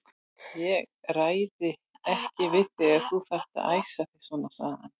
Ég ræði ekki við þig ef þú þarft að æsa þig svona, segir hann.